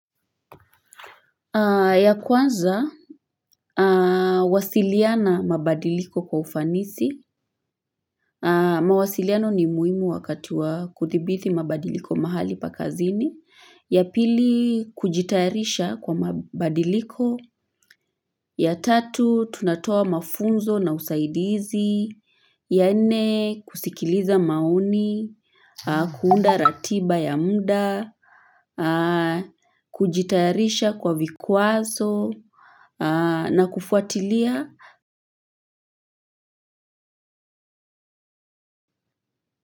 Ya kwanza, wasiliana mabadiliko kwa ufanisi, mawasiliano ni muhimu wakati wa kuthibiti mabadiliko mahali pa kazini, ya pili kujitayarisha kwa mabadiliko, ya tatu tunatoa mafunzo na usaidizi, ya nne kusikiliza maoni, kuunda ratiba ya mda, kujitayarisha kwa vikwazo, na kufuatilia.